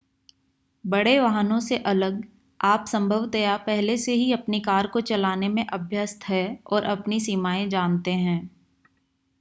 बड़े वाहनों से अलग आप संभवतया पहले से ही अपनी कार को चलाने में अभ्यस्त हैं और अपनी सीमाएं जानते हैं